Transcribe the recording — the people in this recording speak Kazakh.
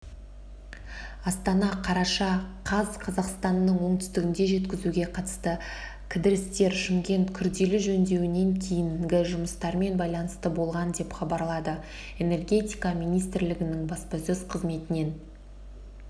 астана қараша қаз қазақстанның оңтүстігінде жеткізуге қатысты кідірістер шымкент күрделі жөндеуден кейінгі жұмыстармен байланысты болған деп хабарлады энергетика министрлігінің баспасөз қызметінен